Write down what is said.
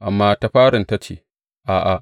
Amma ta farin ta nace, A’a!